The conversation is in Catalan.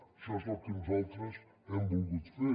això és el que nosaltres hem volgut fer